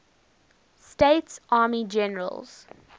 states army generals